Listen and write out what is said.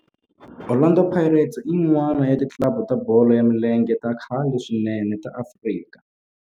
Orlando Pirates i yin'wana ya ti club ta bolo ya milenge ta khale swinene ta Afrika